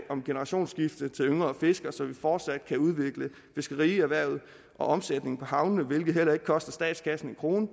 om generationsskifte til yngre fiskere så vi fortsat kan udvikle fiskerierhvervet og omsætningen på havnene hvilket heller ikke koster statskassen en krone